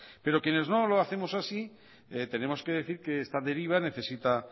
pero quienes no lo hacemos así tenemos que decir que esta deriva necesita